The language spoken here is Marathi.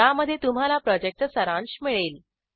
ज्यामध्ये तुम्हाला प्रॉजेक्टचा सारांश मिळेल